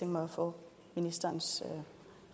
mig at få ministerens